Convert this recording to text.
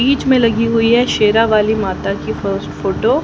बीच में लगी हुई हैं शेरा वाली माता की फस्ट फोटो --